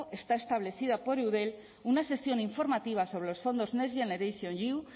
está establecida por eudel una sesión informativa sobre los fondos next generation iu